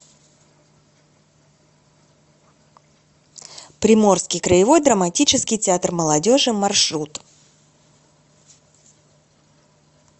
приморский краевой драматический театр молодежи маршрут